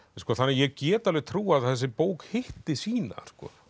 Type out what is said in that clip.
þannig að ég get alveg trúað að þessi bók hitti sína